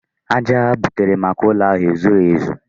Aja ha butere maka ụlọ ahụ ezughị ezu.